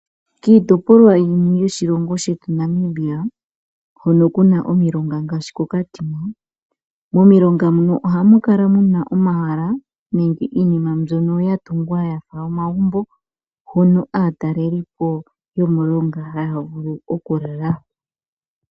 Titopolwa yimwe yoshilongo shetu Namibia hono kuna omilonga ngashi ko Katina momilonga mono ohamukala muna omahala nenge iinima mbyono gatungwa yafa omagumbo hono atalelipo yomulonga havulu oku lala.